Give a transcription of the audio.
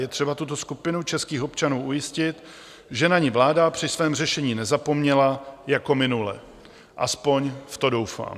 Je třeba tuto skupinu českých občanů ujistit, že na ni vláda při svém řešení nezapomněla jako minule, aspoň v to doufám.